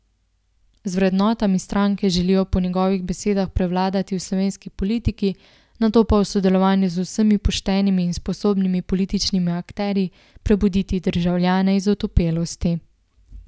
S vrednotami stranke želijo po njegovih besedah prevladati v slovenski politiki, nato pa v sodelovanju z vsemi poštenimi in sposobnimi političnimi akterji prebuditi državljane iz otopelosti.